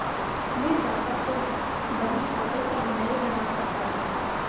मैं चाहता तो बहीखाते सब नये बना सकता था